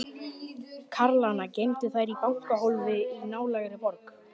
Karlana geymdu þær í bankahólfi í nálægri borg.